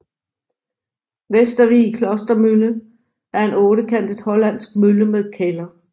Vestervig Klostermølle er en ottekantet hollandsk mølle med kælder